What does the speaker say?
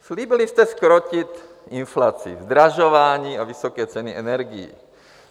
Slíbili jste zkrotit inflaci, zdražování a vysoké ceny energií.